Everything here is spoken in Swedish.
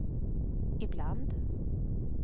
ibland